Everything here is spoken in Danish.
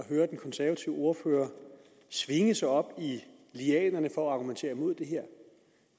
at høre den konservative ordfører svinge sig op i lianerne for at argumentere mod det her